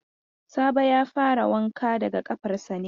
Sabo ya fara wanka daga ƙafarsa ne yau.